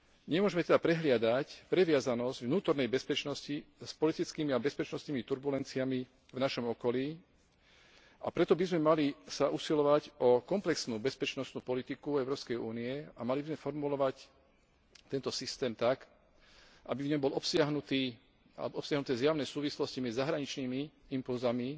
Nemôžeme teda prehliadať previazanosť vnútornej bezpečnosti s politickými a bezpečnostnými turbulenciami v našom okolí, a preto by sme mali sa usilovať o komplexnú bezpečnostnú politiku Európskej únie a mali by sme formulovať tento systém tak, aby v ňom boli obsiahnuté zjavné súvislosti medzi zahraničnými impulzmi